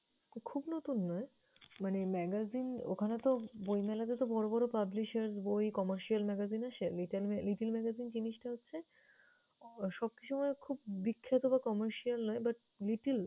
খুব নতুন নয় মানে magazin ওখানেতো বইমেলাতেতো বড়ো বড়ো publishers বই, commercial magazine আসে, little little magazine জিনিষটা হচ্ছে আহ সবকিছু মানে বিখ্যাত বা commercial ন but little